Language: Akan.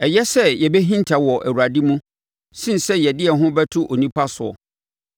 Ɛyɛ sɛ yɛbɛhinta wɔ Awurade mu sene sɛ yɛde yɛn ho bɛto onipa soɔ.